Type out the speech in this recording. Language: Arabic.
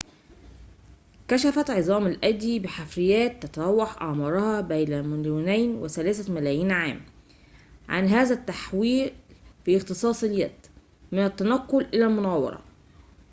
كشفت عظام الأيدي بحفريّات تتراوح أعمارها بين مليوني وثلاثة ملايين عام عن هذا التحوّل في اختصاص اليد من التنقّل إلى المناورة